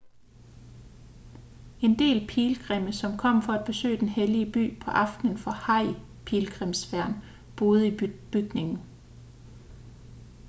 en del pilgrimme som kom for at besøge den hellige by på aftenen for hajj-pilgrimsfærden boede i bygningen